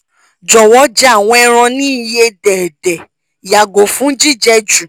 jọwọ jẹ awọn ẹran ni iye dẹdẹ yago fun jijẹ ju